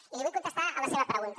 i li vull contestar a la seva pregunta